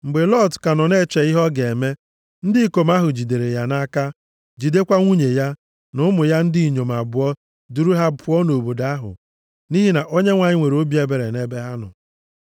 Mgbe Lọt ka nọ na-eche ihe ọ ga-eme, ndị ikom ahụ jidere ya nʼaka, jidekwa nwunye ya, na ụmụ ya ndị inyom abụọ duru ha pụọ nʼobodo ahụ, nʼihi na Onyenwe anyị nwere obi ebere nʼebe ha nọ.